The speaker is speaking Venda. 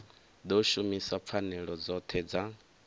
ḓo shumisa pfanelo dzoṱhe dza